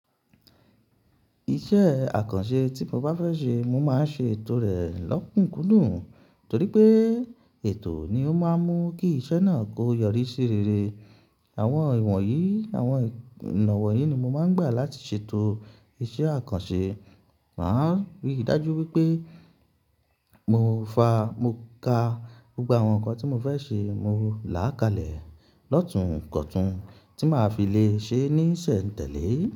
Iṣẹ́ àkànṣe tí mo bá fẹ́ ṣe, mo máa ṣe ètò rẹ̀ lọ́kùnkùn dùn torí pé ètò ni ó máa ń mú kí iṣẹ́ náà kó yọrí sí rere. Àwọn ìwọ̀nyí, àwọn ọ̀nà wọ̀nyí ni mo máa ń gbà láti ṣètò iṣẹ́ àkànṣe. Màá ríi dájú wípé mo fa, mo ka gbogbo àwọn nǹkan tí mo fẹ́ ṣe, mo làá kalẹ̀ lọ́tun kọ̀tún tí màá fi lè ṣe é ní ìsẹ̀ǹtẹ̀lé.